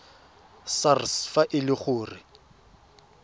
sars fa e le gore